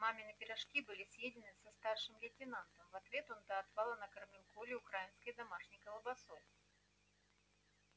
мамины пирожки были съедены со старшим лейтенантом в ответ он до отвала накормил колю украинской домашней колбасой